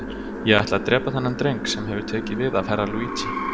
Ég ætla að drepa þennan dreng sem hefur tekið við af Herra Luigi.